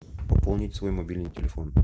пополнить свой мобильный телефон